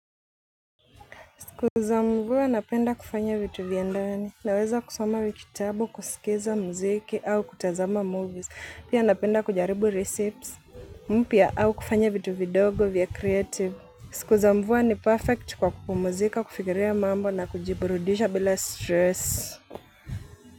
Siku za mvua napenda kufanya vitu vya ndani. Naweza kusoma kitabu, kusikiliza muziki au kutazama sinema. Pia napenda kujaribu recipes mpya au kufanya vitu vidogo vya creative. Siku za mvua ni perfect kwa kupumzika, kufikiria mambo na kujiburudisha bila stress.